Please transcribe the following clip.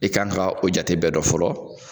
E kan ka o jate bɛɛ dɔn fɔlɔ